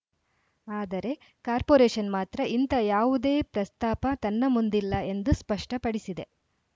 ಆದರೆ ಕಾರ್ಪೋರೇಷನ್‌ ಮಾತ್ರ ಇಂಥ ಯಾವುದೇ ಪ್ರಸ್ತಾಪ ತನ್ನ ಮುಂದಿಲ್ಲ ಎಂದು ಸ್ಪಷ್ಟಪಡಿಸಿದೆ